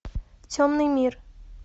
темный мир